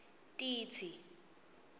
titsi